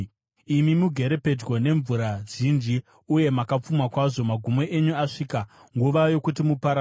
Imi mugere pedyo nemvura zhinji uye makapfuma kwazvo, magumo enyu asvika, nguva yokuti muparadzwe.